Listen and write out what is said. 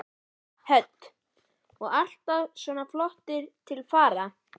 Hödd: Og ertu alltaf svona flott til fara?